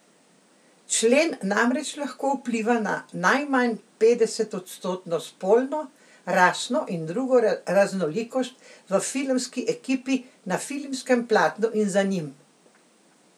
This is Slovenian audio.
Člen namreč lahko vpliva na najmanj petdesetodstotno spolno, rasno in drugo raznolikost v filmski ekipi, na filmskem platnu in za njim.